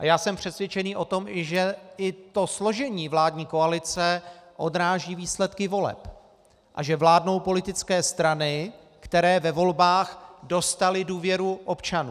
A já jsem přesvědčený o tom, že i to složení vládní koalice odráží výsledky voleb a že vládnou politické strany, které ve volbách dostaly důvěru občanů.